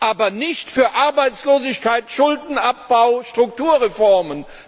Aber nicht für Arbeitslosigkeit, Schuldenabbau, Strukturreformen!